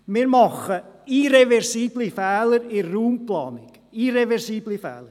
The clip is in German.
Wir machen irreversible Fehler in der Raumplanung – irreversible Fehler.